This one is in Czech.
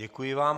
Děkuji vám.